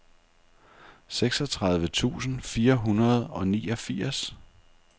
seksogtredive tusind fire hundrede og niogfirs